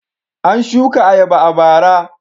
An shuka ayaba a bara.